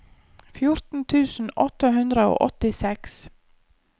fjorten tusen åtte hundre og åttiseks